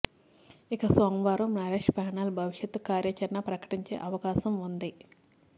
ఇక సోమవారం నరేష్ ప్యానల్ భవిష్యత్తు కార్యాచరణ ప్రకటించే అవకాశం వుంది